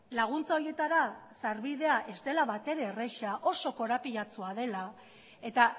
laguntza horietara sarbidea ez dela batere erreza oso korapilatsua dela eta